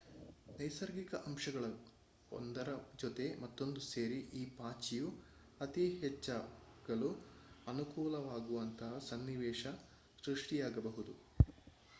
ನೈಸರ್ಗಿಕ ಅಂಶಗಳು ಒಂದರ ಜೊತೆ ಮತ್ತೊಂದು ಸೇರಿ ಈ ಪಾಚಿಯು ಅತಿ ಹೆಚ್ಚಾಗಲು ಅನುಕೂಲವಾಗುವಂತಹ ಸನ್ನಿವೇಶ ಸೃಷ್ಟಿಯಾಗಬಹುದು